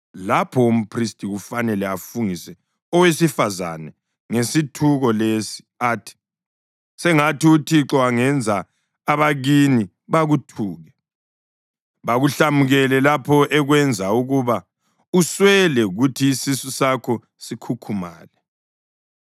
lapho umphristi kufanele afungise owesifazane ngesithuko lesi athi, “sengathi uThixo angenza abakini bakuthuke, bakuhlamukele lapho ekwenza ukuba uswele kuthi isisu sakho sikhukhumale.